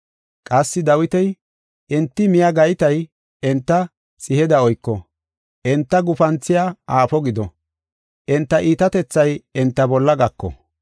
Qassi Dawiti, “Enti miya gaytay enta xiheda oyko; enta gufanthiya aafo gido; enta iitatethay enta bolla gako.